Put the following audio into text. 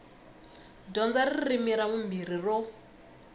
dyondza ririmi ra vumbirhi ro